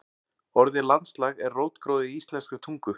Orðið landslag er rótgróið í íslenskri tungu.